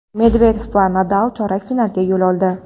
Medvedev va Nadal chorak finalga yo‘l oldi.